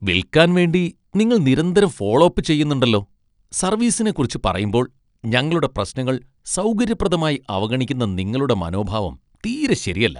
വിൽക്കാൻ വേണ്ടി നിങ്ങൾ നിരന്തരം ഫോളോ അപ്പ് ചെയ്യുന്നുണ്ടല്ലോ, സർവീസിനെക്കുറിച്ച് പറയുമ്പോൾ, ഞങ്ങളുടെ പ്രശ്നങ്ങൾ സൗകര്യപ്രദമായി അവഗണിക്കുന്ന നിങ്ങളുടെ മനോഭാവം തീരെ ശരിയല്ല .